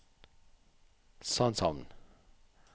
Sandshamn